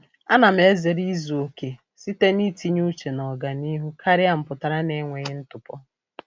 A na m ezere izuokè site n'itinye uche n'ọganihu karịa mpụtara n'enweghị ntụpọ.